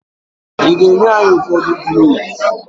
Ị ga-enye anyị ụfọdụ cloves?